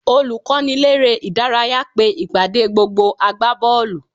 Olùkọ́niléré-ìdárayá pe ìpàdé gbogbo agbábọ́ọ̀lù